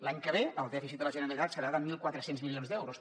l’any que ve el dèficit de la generalitat serà de mil quatre cents milions d’euros